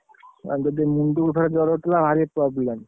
ଯଦି ମୁଣ୍ଡକୁ ଥରେ ଜର ଉଠିଲା ଭାରି problem ,